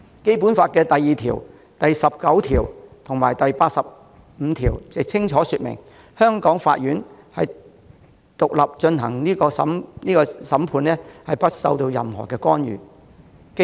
《基本法》第二條、第十九條及第八十五條也清楚訂明，香港法院獨立進行審判，不受任何干涉。